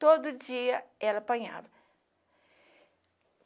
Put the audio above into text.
Todo dia ela apanhava.